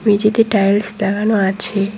মেঝেতে টাইলস লাগানো আছে।